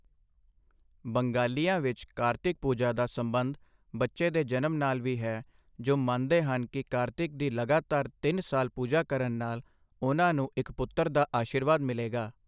ਬੰਗਾਲੀਆਂ ਵਿੱਚ ਕਾਰਤਿਕ ਪੂਜਾ ਦਾ ਸਬੰਧ ਬੱਚੇ ਦੇ ਜਨਮ ਨਾਲ ਵੀ ਹੈ ਜੋ ਮੰਨਦੇ ਹਨ ਕਿ ਕਾਰਤਿਕ ਦੀ ਲਗਾਤਾਰ ਤਿੰਨ ਸਾਲ ਪੂਜਾ ਕਰਨ ਨਾਲ ਉਹਨਾਂ ਨੂੰ ਇੱਕ ਪੁੱਤਰ ਦਾ ਅਸ਼ੀਰਵਾਦ ਮਿਲੇਗਾ।